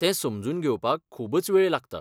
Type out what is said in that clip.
तें समजून घेवपाक खूबच वेळ लागता.